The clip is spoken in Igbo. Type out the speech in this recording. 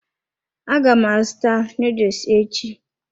Aga m azụta noodles echi.